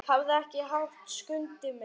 Hafðu ekki hátt, Skundi minn.